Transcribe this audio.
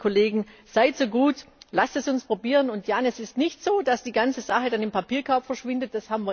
Deswegen seid so gut, lasst es uns probieren und, Jan, es ist nicht so, dass die ganze Sache dann im Papierkorb verschwindet!